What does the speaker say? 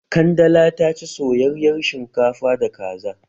Kandala ta ci soyayar shinkafa da kaza